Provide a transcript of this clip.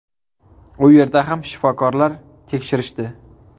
U yerda ham shifokorlar tekshirishdi.